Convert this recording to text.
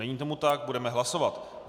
Není tomu tak, budeme hlasovat.